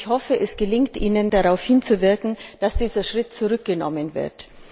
Ich hoffe, es gelingt Ihnen, darauf hinzuwirken, dass dieser Schritt zurückgenommen wird.